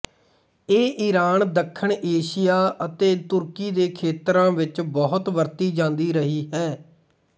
ਇਹ ਇਰਾਨ ਦੱਖਣ ਏਸ਼ੀਆ ਅਤੇ ਤੁਰਕੀ ਦੇ ਖੇਤਰਾਂ ਵਿੱਚ ਬਹੁਤੀ ਵਰਤੀ ਜਾਂਦੀ ਰਹੀ ਹੈ